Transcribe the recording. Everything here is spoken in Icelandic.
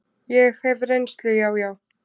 Ég hef reynslu, já, já.